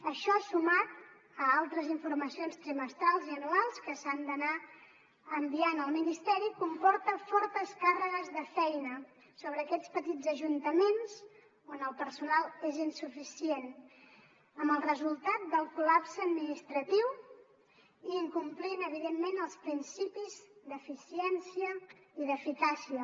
això sumat a altres informacions trimestrals i anuals que s’han d’anar enviant al ministeri comporta fortes càrregues de feina sobre aquests petits ajuntaments on el personal és insuficient amb el resultat del col·lapse administratiu i incomplint evidentment els principis d’eficiència i d’eficàcia